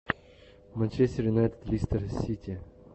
манчестер юнайтед лестер сити